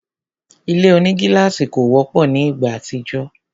Ile onigílàsì kò wọ́pọ̀ ni ìgbà àtijọ́